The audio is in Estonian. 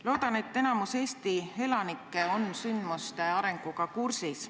Loodan, et enamik Eesti elanikke on sündmuste arenguga kursis.